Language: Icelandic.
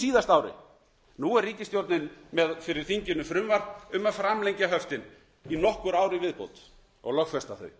síðasta ári nú er ríkisstjórnin með fyrir þinginu frumvarp um að framlengja höftin í nokkur ár í viðbót og lögfesta þau